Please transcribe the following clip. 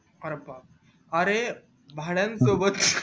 अरे बापरे अरे भाड्यानं सोबत